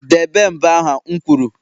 debe mbo ha'm kwuru!